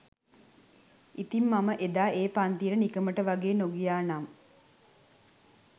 ඉතිං මම එදා ඒ පන්තියට නිකමට වගේ නොගියා නම්